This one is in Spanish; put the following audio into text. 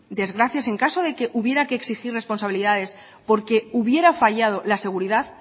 desgracias en caso de que hubiera que exigir responsabilidades porque hubiera fallado la seguridad